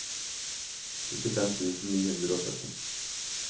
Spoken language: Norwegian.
syttifem tusen ni hundre og sytti